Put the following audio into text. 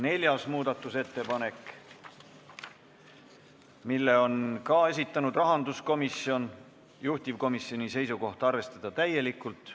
Neljanda muudatusettepaneku on samuti esitanud rahanduskomisjon, juhtivkomisjoni seisukoht: arvestada täielikult.